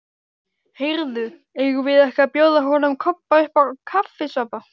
Heyrðu, eigum við ekki að bjóða honum Kobba uppá kaffisopa?